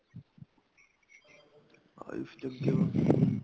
ਹਾਂਜੀ ਅੱਗੇ ਬੱਸ ਹੁਣ